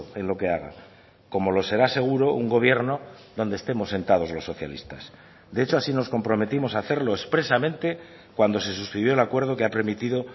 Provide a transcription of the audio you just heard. en lo que haga como lo será seguro un gobierno donde estemos sentados los socialistas de hecho así nos comprometimos a hacerlo expresamente cuando se suscribió el acuerdo que ha permitido